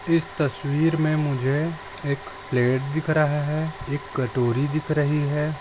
इस तसवीर मे मुझे एक प्लेट दिख रहा है एक कटोरी दिख रही है।